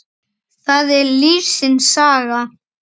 Það er lífsins saga.